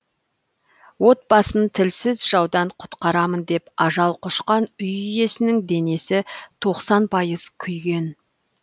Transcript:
отбасын тілсіз жаудан құтқарамын деп ажал құшқан үй иесінің денесі тоқсан пайыз күйген